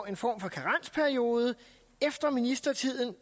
en form for karensperiode efter ministertiden